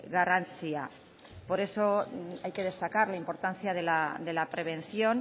garrantzia por eso hay que destacar la importancia de la prevención